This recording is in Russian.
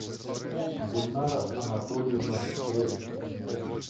гульнара анатольевна крецу